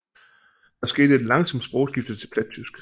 Der skete et langsomt sprogskifte til plattysk